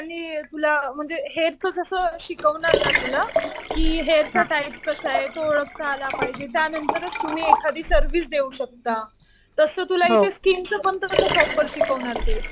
त्यांनी तुला म्हणजे हेअरचं कसं शिकवणार ना तुला कि हेअरचा टाईप कसा आहे तो ओळखता आला पाहिजे. त्यानंतर तुम्ही एखादी सर्व्हिस देऊ शकता. तसं तुला इथे स्कीनचं पण तसं प्रॉपर शिकवणार ते.